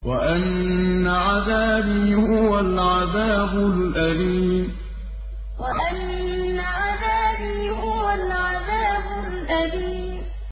وَأَنَّ عَذَابِي هُوَ الْعَذَابُ الْأَلِيمُ وَأَنَّ عَذَابِي هُوَ الْعَذَابُ الْأَلِيمُ